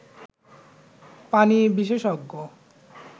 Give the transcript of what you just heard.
পানি বিশেষজ্ঞ